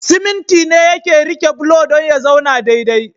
Siminti ne yake rike bulo dan ya zauna dai dai